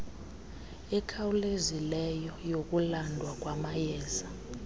ekhawulezileyo yokulandwa kwamayeza